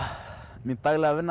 mín daglega vinna